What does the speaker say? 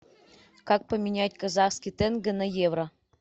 как поменять казахский тенге на евро